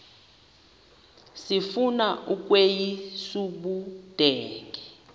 sifuna ukweyis ubudenge